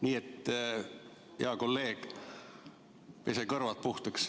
Nii et, hea kolleeg, pese kõrvad puhtaks.